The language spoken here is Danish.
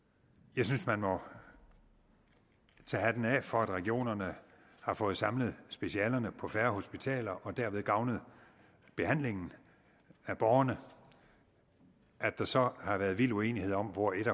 jeg synes man må tage hatten af for at regionerne har fået samlet specialerne på færre hospitaler og derved gavnet behandlingen af borgerne at der så har været vild uenighed om hvor et